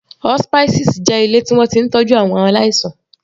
Hospices jẹ́ ilé tí wọ́n ti ń tọ́jú àwọn aláìsàn.